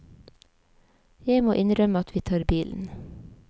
Jeg må innrømme at vi tar bilen.